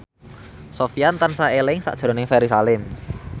Sofyan tansah eling sakjroning Ferry Salim